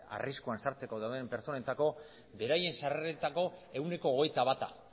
arriskuan sartzeko dauden pertsonentzako beraien sarreretako ehuneko hogeita bata